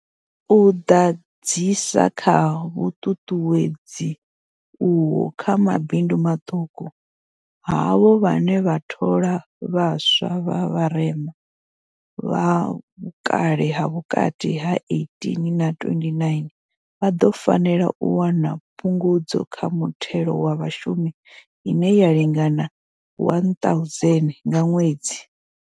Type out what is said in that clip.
U ḓadzisa kha vhuṱuṱuwedzi uho kha mabindu maṱuku, havho vhane vha thola vhaswa vha vharema, vha vhukale ha vhukati ha 18 na 29, vha ḓo fanela u wana phungudzo kha muthelo wa vhashumi ine ya lingana R1 000 nga ṅwedzi.